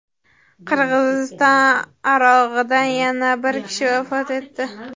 Qirg‘iziston arog‘idan yana bir kishi vafot etdi.